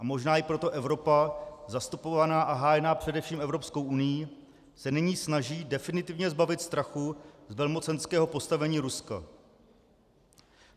A možná i proto Evropa, zastupovaná a hájená především Evropskou unií, se nyní snaží definitivně zbavit strachu z velmocenského postavení Ruska.